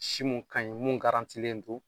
Si mun ka ɲi mun garantilen don